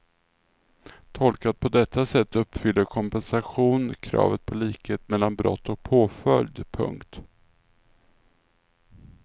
Tolkat på detta sätt uppfyller kompensation kravet på likhet mellan brott och påföljd. punkt